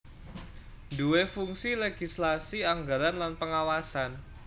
duwé fungsi legislasi anggaran lan pengawasan